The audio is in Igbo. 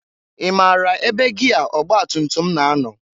I mara ebe gịa ọgbatutum na- anọ?